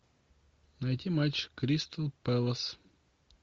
найти матч кристал пэлас